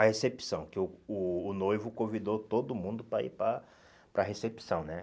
A recepção, que o o noivo convidou todo mundo para ir para para a recepção, né?